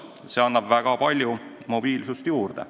See annab väga palju mobiilsust juurde.